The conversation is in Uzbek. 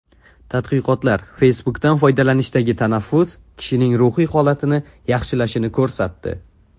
Tadqiqotlar Facebook’dan foydalanishdagi tanaffus kishining ruhiy holatini yaxshilashini ko‘rsatdi.